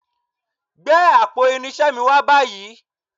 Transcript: Gbé àpò irinṣẹ́ mi wá báyìí